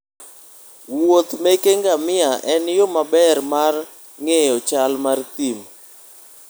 Wuoth meke ngamia en yo maber mar ng'eyo chal mar thim.